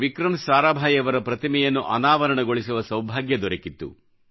ವಿಕ್ರಂ ಸಾರಾಭಾಯಿಯವರ ಪ್ರತಿಮೆಯನ್ನು ಅನಾವರಣಗೊಳಿಸುವ ಸೌಭಾಗ್ಯ ದೊರಕಿತ್ತು